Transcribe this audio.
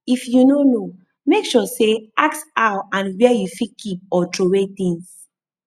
if you no know make sure say ask how and where you fit keep or troway things